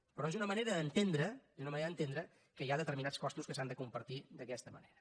però és una manera d’entendre és una manera d’entendre que hi ha determinats costos que s’han de compartir d’aquesta manera